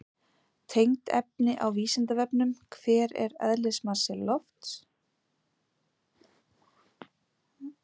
Tengt efni á Vísindavefnum: Hver er eðlismassi lofts?